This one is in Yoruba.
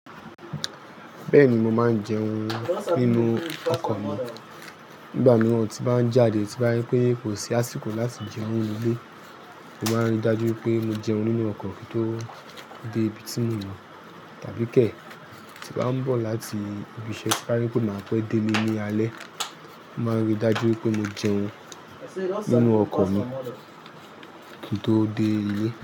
Bẹ́ẹ̀ni, mo máa ń jẹun nínú ọkọ̀ mi. Nígbà mìíràn tí bá ń jáde tí bá ri pé kò sí àsìkò láti jẹun nínu ilé, mo máa ń rí dájú pé mo jẹun nínú ọkọ̀ kí n tó dé ibi tí mò ń lọ. Tàbí kẹ̀, tí bá ń bọ̀ láti ibi iṣẹ́ tí bá rí pé máà pẹ́ dé lé ní alẹ́, mo máa ń rí dájú pé mo jẹun nínú ọkọ̀ mi, kí n tó dé ilé.